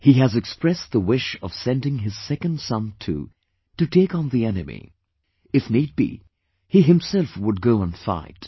He has expressed the wish of sending his second son too, to take on the enemy; if need be, he himself would go and fight